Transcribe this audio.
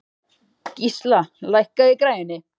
Gísla, lækkaðu í græjunum.